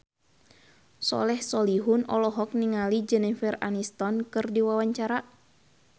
Soleh Solihun olohok ningali Jennifer Aniston keur diwawancara